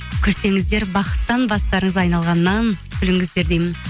күлсеңіздер бақыттан бастарыңыз айналғаннан күліңіздер деймін